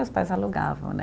Meus pais alugavam, né?